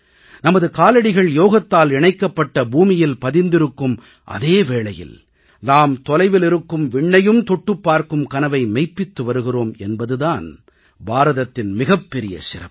நமது காலடிகள் யோகத்தால் இணைக்கப்பட்ட பூமியில் பதிந்திருக்கும் அதே வேளையில் நாம் தொலைவில் இருக்கும் விண்ணையும் தொட்டுப் பார்க்கும் கனவை மெய்ப்பித்து வருகிறோம் என்பது தான் பாரதத்தின் மிகப்பெரிய சிறப்பு